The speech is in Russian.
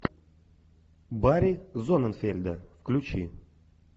барри зонненфельда включи